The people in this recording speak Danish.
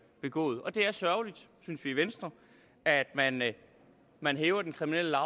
begået og det er sørgeligt synes vi i venstre at man at man hæver den kriminelle